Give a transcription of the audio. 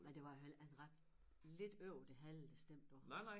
Men det var jo heller ikke ret lidt over det halve der stemte på ham